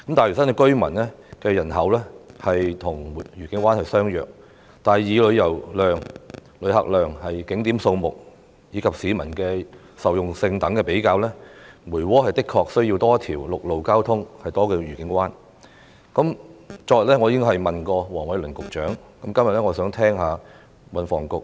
大嶼南居民的人口數目和愉景灣相若，但以旅遊活動量、旅客量、景點數目及市民受用性等的比較而言，梅窩對增設一條陸路交通幹道的需求確實較愉景灣為大。